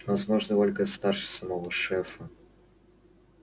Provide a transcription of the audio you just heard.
возможно ольга старше самого шефа